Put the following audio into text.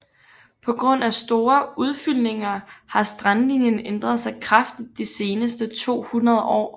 På grund af store udfyldninger har strandlinjen ændret sig kraftigt de seneste 200 år